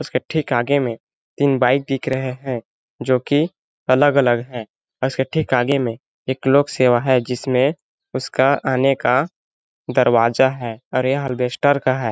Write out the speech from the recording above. इसके ठीक आगे में तीन बाइक दिख रहे है जोकि अलग-अलग है उसके ठीक आगे में एक लोक-सेवा है जिसमें उसका आने का दरवाजा है और यह अलबेस्टर का है।